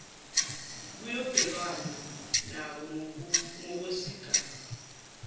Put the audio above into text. kuyobhekwana nako ngokwesigaba